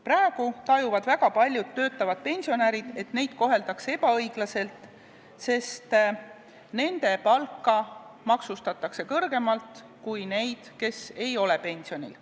Praegu tajuvad väga paljud töötavad pensionärid, et neid koheldakse ebaõiglaselt, sest nendel maksustatakse palka kõrgemalt kui nendel, kes ei ole pensionil.